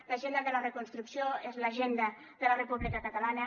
l’agenda de la reconstrucció és l’agenda de la república catalana